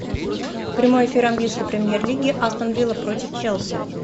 прямой эфир английской премьер лиги астон вилла против челси